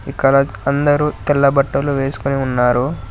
ఇక్కడ అందరూ తెల్ల బట్టలు వేసుకుని ఉన్నారు.